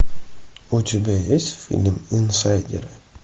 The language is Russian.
у тебя есть фильм инсайдеры